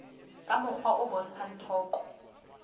ka mokgwa o bontshang toka